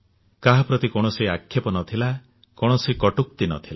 କାହା ପ୍ରତି କୌଣସି ଆକ୍ଷେପ ନଥିଲା କୌଣସି କଟୁକ୍ତି ନଥିଲା